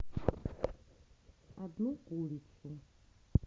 одну курицу